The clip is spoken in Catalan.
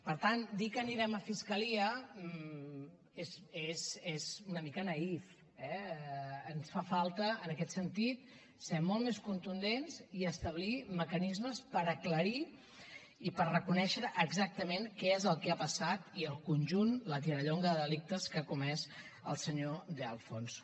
per tant dir que anirem a fiscalia és una mica naïf eh ens fa falta en aquest sentit ser molt més contundents i establir mecanismes per aclarir i per reconèixer exactament què és el que ha passat i el conjunt la tirallonga de delictes que ha comès el senyor de alfonso